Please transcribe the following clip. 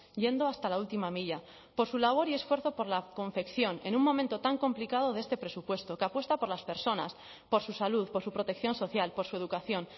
yendo hasta la última milla por su labor y esfuerzo por la confección en un momento tan complicado de este presupuesto que apuesta por las personas por su salud por su protección social por su educación